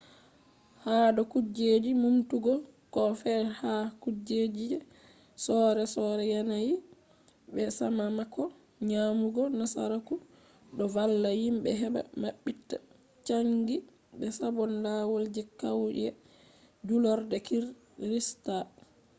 hado kujeji numtugo koh fe’i ha kujeji je sore sore yanayi be sakamako nyamugo nasaraku do valla himbe heba mabbita changi be sabon lawal je kauye julurde kirista